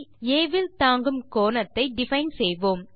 ஆ வில் தாங்கும் கோணத்தை டிஃபைன் செய்வோம்